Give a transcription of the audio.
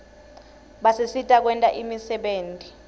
basisita kwenta imisebenti